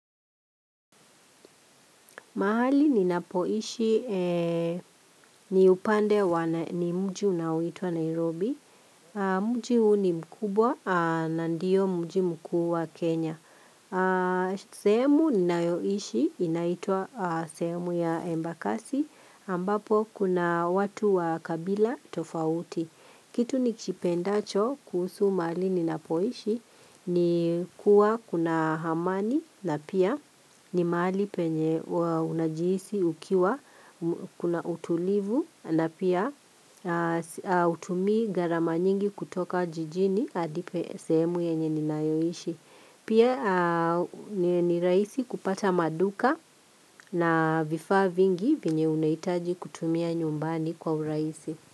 Mahali ninapoishi ni upande wa mji unaoitwa Nairobi, mji huu ni mkubwa na ndio mji mkuu wa Kenya. Sehemu ninayoishi inaitwa sehemu ya embakasi ambapo kuna watu wa kabila tofauti. Kitu nikipendacho kuhusu mahali ninapoishi ni kuwa kuna amani na pia ni mahali penye unajihisi ukiwa kuna utulivu na pia hutumii gharama nyingi kutoka jijini hadi sehemu yenye ninayoishi. Pia ni rahisi kupata maduka na vifaa vingi venye unahitaji kutumia nyumbani kwa urahisi.